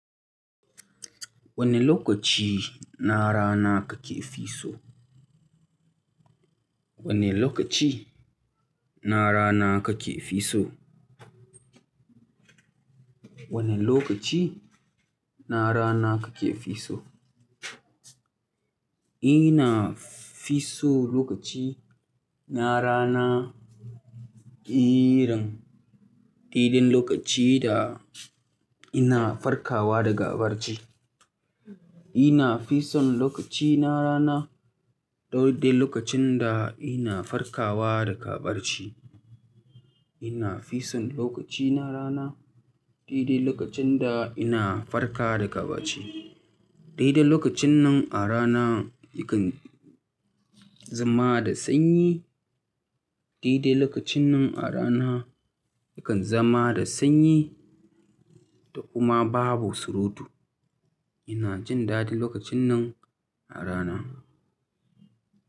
Wane lokaci na rana kake fi so? Wane lokaci na rana kake fisso? Wane lokaci na rana kake fisso? Ina fi so lokaci na rana irin daidai lokaci da ina farkawa daga barci. Ina fi son lokaci na rana dai dai lokacin da ina farkawa daga baci. Ina fi son lokaci na rana daidai lokacin da ina farkawa daga baci. Daidai lokacin nan a rana yakan zama da sanyi, daidai lokacin nan a rana yakan zama da sanyi da kuma babu surutu. Ina jin dadi lokacin nan a rana.